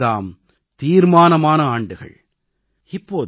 இந்த 5 ஆண்டுகள் தாம் தீர்மானமான ஆண்டுகள்